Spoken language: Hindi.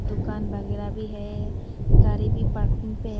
दुकान वगैरह भी है गाड़ी भी पार्किंग पे है।